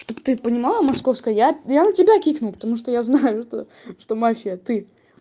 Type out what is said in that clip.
что бы ты понимала московская я я на тебя кикну потому что я знаю то что мафия это ты